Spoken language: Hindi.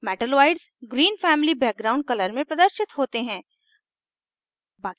metalloids green family background color में प्रदर्शित होते हैं